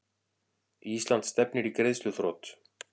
Ísland stefnir í greiðsluþrot